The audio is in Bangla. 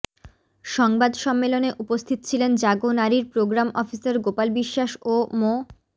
সংবাদ সম্মেলনে উপস্থিত ছিলেন জাগো নারীর প্রোগ্রাম অফিসার গোপাল বিশ্বাস ও মো